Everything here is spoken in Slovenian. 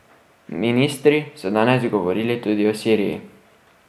Ministri so danes govorili tudi o Siriji.